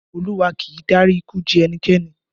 Olúwa kì í dárí ikú ji ẹnikẹ́ni